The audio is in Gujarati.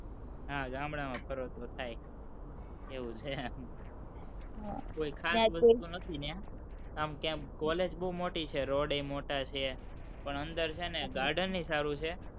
હા, ગામડામાં ફરો તો થાય, એવું છે, કોઈ ખાસ વસ્તુ નથી ન્યાં, આમ college બોવ મોટી છે, road ય બોવ મોટા છે, પણ અંદર છે ને garden ય સારું છે,